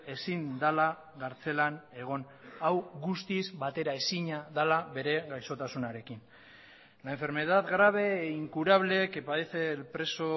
ezin dela kartzelan egon hau guztiz bateraezina dela bere gaixotasunarekin la enfermedad grave e incurable que padece el preso